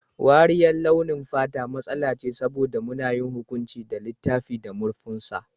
Wariyar launin fata matsala ce saboda muna yin hukunci da littafin da murfinsa.